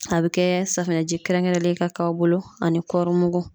A bɛ kɛ safunɛji kɛrɛnkɛrɛnlen ka k'aw bolo, ani kɔɔri mugu.